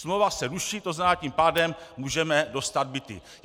Smlouva se ruší, to znamená, tím pádem můžeme dostat byty.